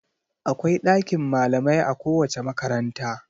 Akwai ɗakin malamai a kowace makaranta..